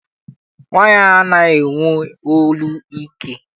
Nwaanyị anaghị enwe olu ike.